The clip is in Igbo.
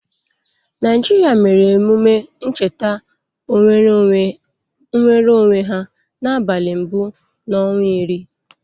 Naịjịrịa mere emume ncheta nwereonwe ya n'abalị mbụ n'ọnwa iri.